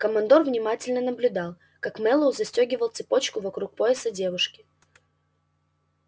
командор внимательно наблюдал как мэллоу застёгивал цепочку вокруг пояса девушки